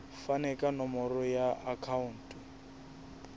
fane ka nomoro ya akhauntu